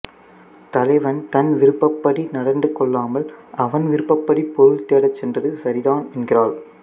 தலைவன் தன் விருப்பப்படி நடந்துகொள்ளாமல் அவன் விருப்பப்படி பொருள் தேடச் சென்றது சரிதான் என்கிறாள்